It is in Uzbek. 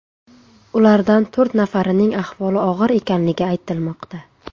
Ulardan to‘rt nafarining ahvoli og‘ir ekanligi aytilmoqda .